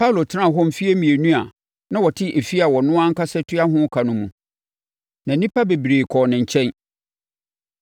Paulo tenaa hɔ mfeɛ mmienu, a na ɔte efie a ɔno ankasa tua ho ka no mu, na nnipa bebree kɔɔ ne nkyɛn.